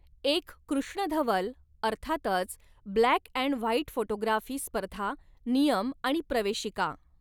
एक कृष्णधवल अर्थातच ब्लॅक अँड व्हाईट फोटोग्राफी स्पर्धा नियम आणि प्रवेशिका